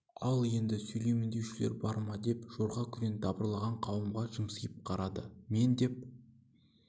ал енді сөйлеймін деушілер бар ма деп жорға күрең дабырлаған қауымға жымсиып қарады мен деп